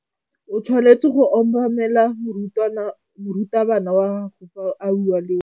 O tshwanetse go obamela morutabana wa gago fa a bua le wena.